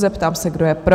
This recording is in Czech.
Ptám se, kdo je pro?